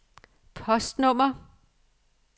postnummer